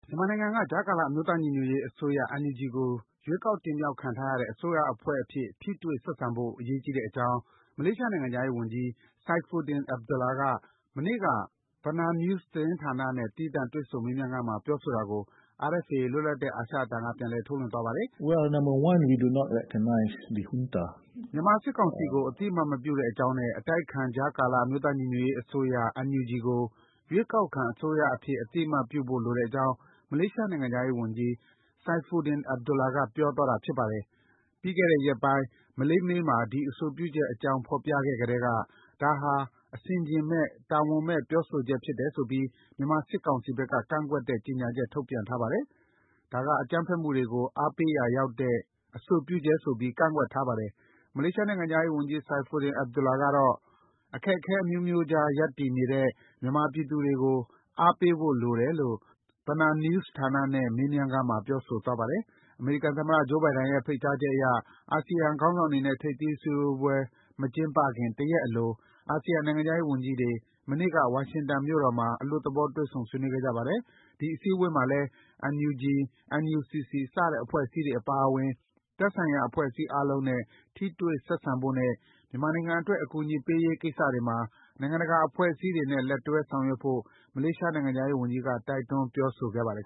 မြန်မာနိုင်ငံက ကြားကာလ အမျိုးသားညီညွတ်ရေး အစိုးရ NUG ကို ရွေးချယ်တင်မြှောကက်ခံထားရတဲ့ အစိုးရအဖွဲ့အဖြစ် ထိတွေ့ဆက်ဆံဖို့ အရေးကြီးတဲ့အကြောင်း မလေးရှားနိုင်ငံခြားရေး ဝန်ကြီး Saifuddin Abdullah က မနေ့က BenarNews ဌာနနဲ့ သီးသန့် တွေ့ဆုံမေးမြန်းခန်းမှာ ပြောဆိုတာကို RFA လွတ်လပ်တဲ့ အာရှအသံက ပြန်လည် ထုတ်လွှင့်သွားပါတယ်။ မြန်မာစစ်ကောင်စီကို အသိအမှတ်မပြုတဲ့အကြောင်းနဲ့ အတိုက်အခံ ကြားကလအမျိုးသားညီညွတ်ရေးအစိုးရ NUG ကို ရွေးကောက်ခံအစိုးရအဖြစ် အသိအမှတ်ပြုဖို့လိုတဲ့အကြောင်း မလေးရှားနိုင်ငံ ခြားရေးဝန်ကြီး Saifuddin Abdullah က ပြောဆိုသွားတာပါ။ ပြီးခဲ့တဲ့ ရက်ပိုင်း Malay Mail မှာ ဒီ အဆိုပြုချက်အကြောင်း ဖော်ပြခဲ့ကတည်းက ဒါဟာ အဆင်အခြင်မဲ့၊ တာဝန်မဲ့ ပြောဆိုချက်ဖြစ်တယ်ဆိုပြီး မြန်မာစစ်ကောင်စီဘက်က ကန့်ကွက်တဲ့ ကြေညာချက် ထုတ်ပြန်ထားပါတယ်။ ဒါက အကြမ်းဖက်မှုတွေကို အားပေးရာရောက်နိုင်တဲ့ အဆိုပြုချက်ဆိုပြီး ကန့်ကွက်ထားပါတယ်။ မလေးရှားနိုင်ငံခြားရေး ဝန်ကြီး Saifuddin Abdullah ကတော့ အခက်အခဲအမျိုးမျိုးကြား ရပ်တည်နေတဲ့ မြန်မာပြည်သူတွေကို အားပေးဖို့လိုတယ်လို့ BenarNews ဌာနနဲ့ မေးမြန်းခန်းမှာ ပြောဆိုသွားပါတယ်။ အမေရိကန်သမ္မတ Joe Biden ရဲ့ ဖိတ်ကြားချက်အရ အာဆီယံ ခေါင်းဆောင်တွေနဲ့ ထိပ်သီးအစည်းအဝေး မကျင်းပခင် တရက်အလို အာဆီယံနိုင်ငံခြားရေးဝန်ကြီးတွေ မနေ့က ဝါရှင်တန်မြို့တော်မှာ အလွတ်သဘော တွေ့ဆုံဆွေးနွေးခဲ့ကြပါတယ်။ ဒီအစည်းအဝေးမှာလည်း NUG၊ NUCC စတဲ့ အဖွဲ့အစည်းတွေအပါအဝင် သက်ဆိုင်ရာအဖွဲ့အစည်းအားလုံးနဲ့ ထိတွေ့ဆက်ဆံဖို့နဲ့ မြန်မာနိုင်ငံအတွက် အကူအညီပေးရေးကိစ္စတွေမှာ နိုင်ငံတကာ အဖွဲ့အစည်းတွေနဲ့ လက်တွဲ ဆောင်ရွက်ဖို့ မလေးရှား နိုင်ငံခြားရေးဝန်ကြီးက တိုက်တွန်းပြောဆိုခဲ့ပါတယ်